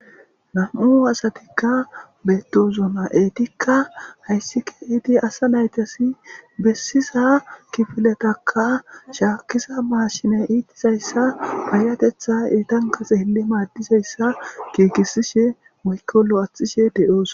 Na'mu asatikka beettosona etikka hayssika iidi asa naytasi bessiza kifiletakka shaakkiza maashine iitizayssa payatetha iitan kase hilli maaddizayssa kiikisishe mokolo axishe de'oos